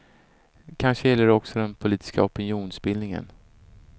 Kanske gäller det också den politiska opinionsbildningen.